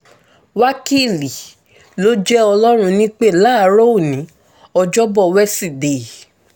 wákìlì ló jẹ́ ọlọ́run nípẹ́ láàárọ̀ òní ọjọ́bọ̀ wẹsídẹ̀ẹ́